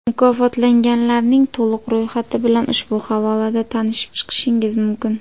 Mukofotlanganlarning to‘liq ro‘yxati bilan ushbu havolada tanishib chiqishingiz mumkin .